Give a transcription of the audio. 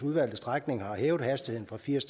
udvalgte strækninger har hævet hastigheden fra firs